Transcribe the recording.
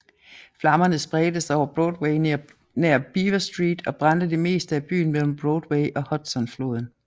Flammerne spredte sig over Broadway nær Beaver Street og brændte det meste af byen mellem Broadway og Hudsonfloden